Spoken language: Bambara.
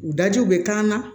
U dajiw bɛ k'an na